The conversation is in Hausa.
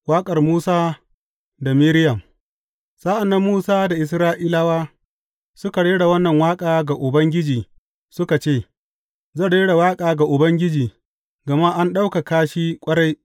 Waƙar Musa da Miriyam Sa’an nan Musa da Isra’ilawa suka rera wannan waƙa ga Ubangiji suka ce, Zan rera waƙa ga Ubangiji gama an ɗaukaka shi ƙwarai.